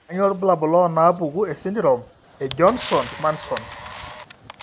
Kainyio irbulabul onaapuku esindirom eJohnson Munson?